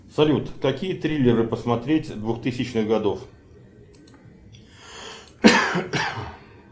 салют какие триллеры посмотреть двухтысячных годов